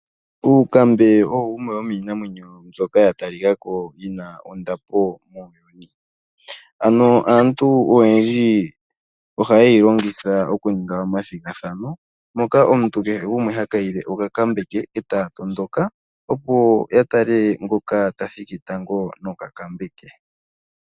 Oonkambe odho dhimwe dhomiinamwenyo mbyoka ya talikako yi na ondapo. Aantu oyendji ohaye yi longitha mokuninga omathigathano moka omuntu kehe gumwe ha kayile okankambe ke e taya tondoka opo ya tale ngoka ta thiki tango nokankambe ke.